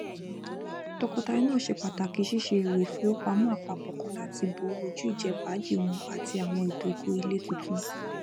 tọkọtaya náà ṣe pàtàkì ṣíṣe èrò ìfowópamọ apapọ kan láti bò ojú ìjẹfàájì wọn àti àwọn ìdógó ilé tuntun